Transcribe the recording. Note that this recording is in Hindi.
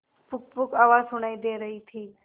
पुकपुक आवाज सुनाई दे रही थी